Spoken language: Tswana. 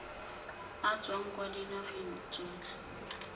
a tswang kwa dinageng tsotlhe